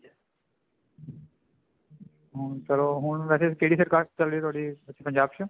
ਹੁਣ ਚਲੋ ਹੁਣ ਵੇਸੇ ਕਿਹੜੀ ਸਰਕਾਰ ਚੱਲਦੀ ਆ ਤੁਹਾਡੇ ਪੰਜਾਬ ਚ